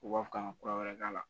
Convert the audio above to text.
U b'a fɔ k'an ka kura wɛrɛ k'a la